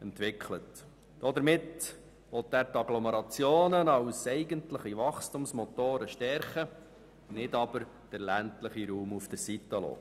Damit will er die Agglomerationen als eigentliche Wachstumsmotoren stärken, aber den ländlichen Raum nicht aussen vor lassen.